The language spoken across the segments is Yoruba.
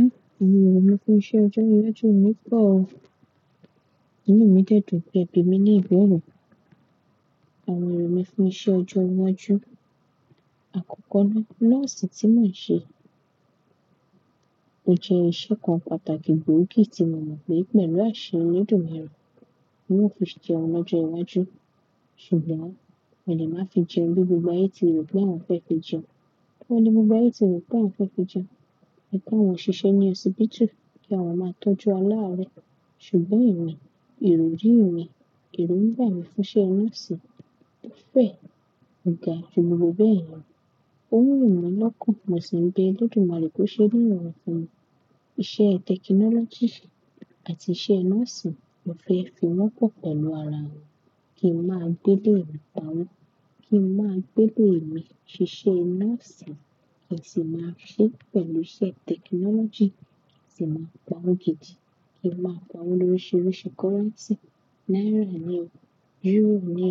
Ë! Òní ero mi fún iṣẹ́ ọjọ́ iwájú mi pọ̀ o. Inu mi dè dun pè bi mi ní ìbẹ̀rù. Àwọn èrò mi fún iṣẹ́ ọjọ́ iwájú. Àkọ́kọ́ ni, nurse tí mo n ṣe. Ó jẹ́ iṣẹ́ kan pàtàkì gbóògì tí mo mo pe pelu ase màá mọ̀ pé olódùmarè. Mo máa fi ṣe ọmọ ojú iwájú. Ṣùgbọ́n èmi máa fi jẹ gbígbó gba ètì rẹ̀ bí àwọn fẹ́ fi jẹun. Bí wọ́n le mú gba ètì rẹ̀ bí àwọn fẹ́ fi jẹun. Ẹ ká wọn ṣiṣẹ́ ní ọsi bítù kí àwọn máa tọ́jú aláàárẹ́. Ṣùgbọ́n ìwé, ìròyìn mi, èrò ń gba mi fún iṣẹ́ nurse. Ó fẹ́, ò ga gbogbo bẹ́ẹ̀ ni. Ó wù mí lọ́kàn mo si be olódùmarè kó ṣe ní irorun funmi. Iṣẹ́ technology àti iṣẹ́ nurse mo fẹ́ fi wọ́pọ̀ pẹ̀lú ara mi. Kí ń máa gbé lé ìlú kan. Kí ń máa gbé lé mi ṣiṣẹ́ nursing kí sì máa se pẹ̀lú iṣẹ́ technology kí sì máa pa owó gidi, kí sì máa pa owó lóríṣiríṣi currency. Naira ni, euro ni,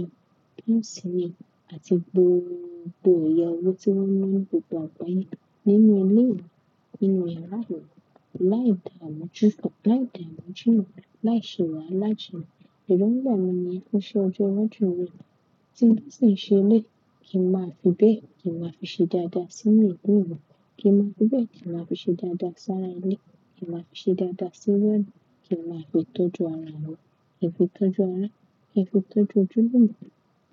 pounds ni àti gbogbo ẹ̀yà owó tí wọ́n náa ńi gbogbo agbaye. Nínú ilé yìí, nínú ìyara yìí, láì dààmú jú, láì dààmú jùlọ, láì ṣewahala ju. Ẹ̀rọńgbà mí ní iṣẹ́ ọjọ́ iwájú mi. Tí n ṣe lé, kí n máa fi bẹ́ẹ̀ kí n máa fi ṣe dáadáa sí ńu ilu mi. Kí n máa fi bẹ́ẹ̀ kí n máa fi ṣe dáadáa sára ilé. Kí n máa fi ṣe dáadáa sí wá. Kí n máa fi tọ́jú ara mi. Ẹ fi tọ́jú ara ẹ, ẹ fi tọ́jú ojúlumo.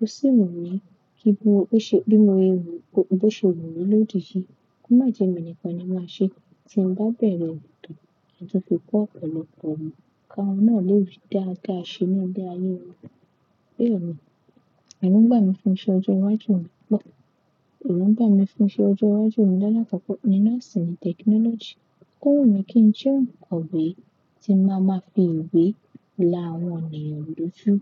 Ó sì wù mí kí gbogbo tó ṣe nínú èrò mi, gbogbo tó ṣe wù mí lódì yìí. Kò má jẹ́ mi nìkan ni màá ṣe. Tí n bá bẹ̀rẹ̀ tò àti fi kó ọ̀pọ̀lọpọ̀ ọmọ, ká wọn náà lé ri dáadáa ṣe nílé ayé wọn. Béèni èrò ń gbà mí fún iṣẹ́ ọjọ́ iwájú mi pọ̀. Èrò ń gbà mí fún iṣẹ́ ọjọ́ iwájú mi. Láàlá kọ́ ni nursing technology. Kó wù mí kí n jẹ́ onkoòwé tí màá máa fi ìwé láwọn ènìyàn loju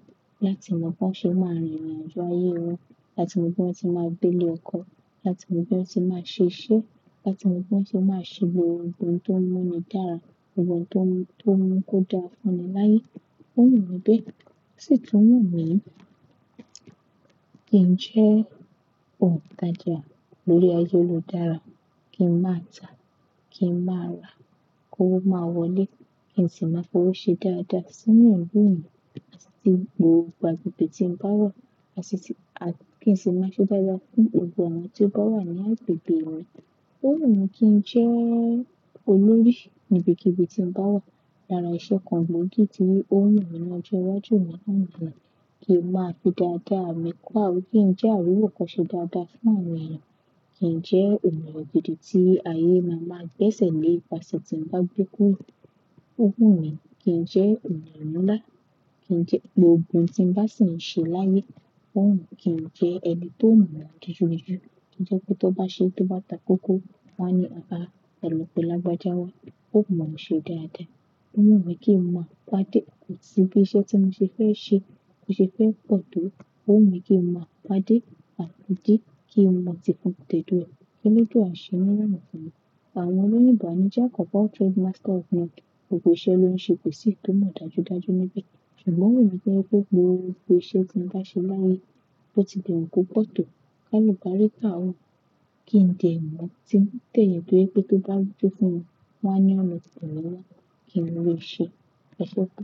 láti mọ bí wọ́n ṣe máa rìn irin àjọ ayé wọn. Láti mọ bí wọ́n ti máa gbé lé ọkọ. Láti mọ bí wọ́n ti máa ṣiṣẹ́. Láti mọ bí wọ́n se máa ṣe gbogbo ohun tó múni dára. Ohun tó mú, tó mú ń ko dára fún ni láyé. Ó wù mí bé, ó sì tún wù mí kí n jẹ́ ontajà lórí ayélujára. Kí n máa ta, kí n máa ra kówo máa wọlé. Kí n sì máa fi ọ́wo ṣe dáadáa sí ńbú mi àti gbogbo agbègbè tí ń bá wà àti kí n sì máa ṣe dáadáa fún gbogbo awọ̀n tí ó bá wà ní agbègbè mi. Ó wù mí kí n jẹ́ olórí níbi kibii tí ń bá wà. Lára iṣẹ́ kan gbòógì tí ó wù mí ní ọjọ́ iwájú mi lánàá ni. Kí n máa fi dáadáa mi kó kí n jẹ́ àríwó koṣe dáadáa fún àwọn ènìyàn. Kí n jẹ́ eníyan gidi tí ayé máa máa gbé ẹsẹ̀ lé ìpasẹ̀ tí ń bá gbe kuro. Ó wù mí kí n jẹ́ eniyan nlá. Kí n jẹ́ gbogbo ohun tí ń bá ṣi ń ṣe láyé. Ó wù mí kí n jẹ́ ẹni tó mọ̀ ọ́n dijù dijù. Kí n jẹ́ pé tó bá ṣe tó bá ta kókó, wọ́n á ní e lo ba, e lo pé lágbajá wa. Ó wù mí ṣe dáadáa. Ó wù mí kí n máa pàdé òkìtì bí iṣẹ́ tí mo ṣe fẹ́ ṣe. Mo ṣe fẹ́ kọ tó. Ó wù mí kí n máa pàdé àtúnjí kí n máa ti fọn tètè rẹ̀. Keledua ló jọ àṣẹ nínú èmi fún mi? Àwọn oní ìbànújẹ́ àkọ́kọ́ trade master of none. Gbogbo iṣẹ́ ló ń ṣe kò sì tó mọ̀ dájúdájú níbẹ̀. Ṣùgbọ́n wù mí jẹ́ pé gbogbo iṣẹ́ tí ń bá ṣe láyé, ó ti lè wọ́n kó pọ̀ tó. Ká lọ báré ká òun. Kí n tẹ̀mọ́ tí ń tẹ̀yìn pé tó bá rúfú fún mi, wọ́n á yán mi tìrẹ níná. Kí ni mo lè ṣe? Ọṣọ́ bú.